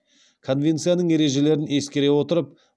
конвенцияның ережелерін ескере отырып